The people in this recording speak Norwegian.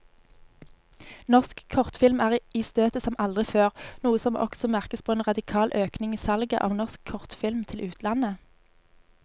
Norsk kortfilm er i støtet som aldri før, noe som også merkes på en radikal økning i salget av norsk kortfilm til utlandet.